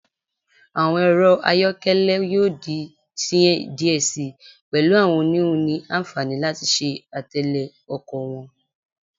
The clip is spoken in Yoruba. Awọn ẹrọ ọkọ ayọkẹlẹ yoo di sihin diẹ sii, pẹlu awọn oniwun ni anfani lati ṣe atẹle ọkọ wọn